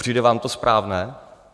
Přijde vám to správné?